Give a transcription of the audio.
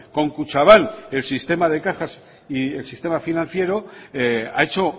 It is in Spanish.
con kutxabank el sistema de cajas y el sistema financiero ha hecho